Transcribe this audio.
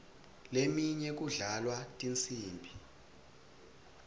leminye kudlalwa tinsimbi